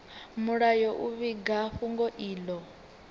mulayo u vhiga fhungo ilo